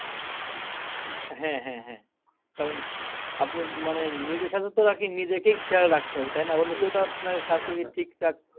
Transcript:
হ্যাঁ হ্যাঁ হ্যাঁ কারণ আপনার মানে নিজের স্বাস্থ্যটাকে নিজেকেই খেয়াল রাখতে হবে তাই না